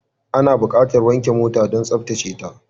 Ana buƙatar wanke mota don tsaftace ta.